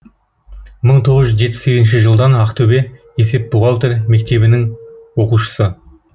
мың тоғыз жүз жетпіс сегізінші жылдан ақтөбе есеп бухгалтер мектебінің оқушысы